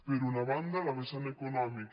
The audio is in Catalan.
per una banda la vessant econòmica